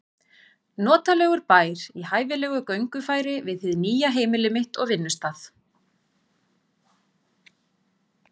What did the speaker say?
Notalegur bær í hæfilegu göngufæri við hið nýja heimili mitt og vinnustað.